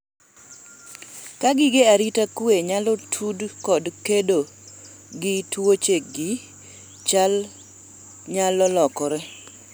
ka gige arita kwe inyalo tud kod kedo gi tuochegi, chal nyalo lokore